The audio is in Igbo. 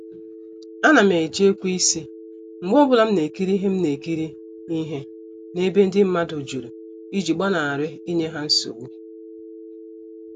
A nam eji ekweisi mgbe ọbụla m na-ekiri ihe m na-ekiri ihe na-ebe ndị mmadụ jụrụ iji gbanari inye ha nsogbu.